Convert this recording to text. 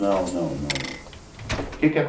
Não, não, não não.